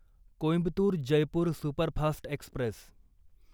Coimbatore Jaipur superfast Express